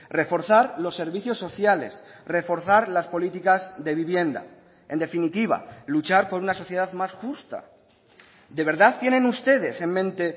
reforzar los servicios sociales reforzar las políticas de vivienda en definitiva luchar por una sociedad más justa de verdad tienen ustedes en mente